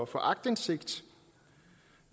for aktindsigt